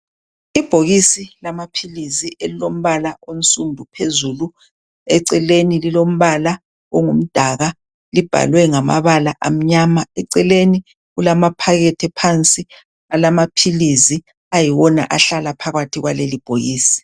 Ibhokisi lamaphilizi elilombala onsundu phezulu, eceleni lilombala ongumdaka. Libhalwe ngamabala amnyama, eceleni kulamaphakethe phansi alamaphilizi ayiwona ahlala phakathi kwaleli bhokisi.